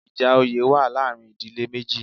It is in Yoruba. Ìjà oyè wa láàrin ìdílé méjì